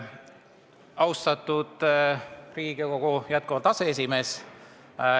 Austatud Riigikogu aseesimees!